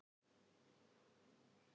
KRISTJÁN: Jú, jú, vinir mínir!